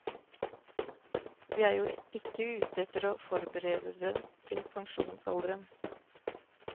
Vi er jo ikke ute etter å forberede dem til pensjonsalderen.